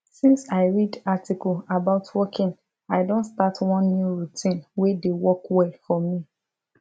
since i read article about walking i don start one new routine wey dey work well for me